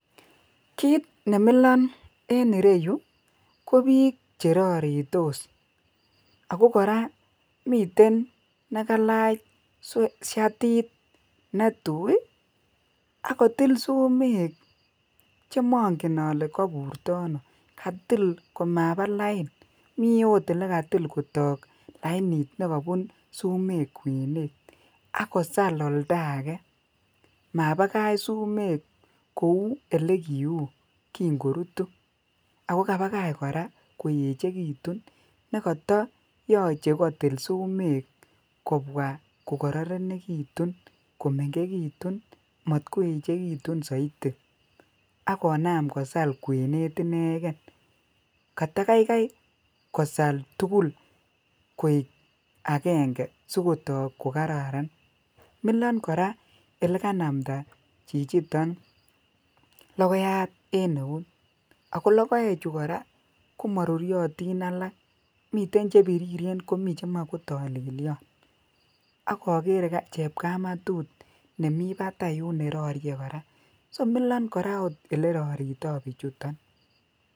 `kiit nemilon en ireyuu ko biik cheraritos ago koraa miten negalaach shatit netuui iih ak kotill sumek chemongen olee kaburtoi anoo katill l\komabaa lain mii oot negatil kotok lainit negobun sumeek kweneet ak kosaal oldo agee mabagach sumeek kouu olegiuu kinn korutu, ago kabagach koraa koechegitun negoto yoche kotill sumeek kobwaa kogororegitun komengegitun maat kouchegitun soitii ak konaam kosal kweneet inegeen katagaigai kosaal tugul koek agenge sigotook kogararan, miilon koraa oleganamda chichiton logoiyaat en neuut agoo logoechu koraa komaruryotin alaak miten chebiriren komii chemoe ko tolelyoon ak ogeere chepkamatut nemii bataai yuun nerorie koraa so miloon koraa oleroritoo bichuton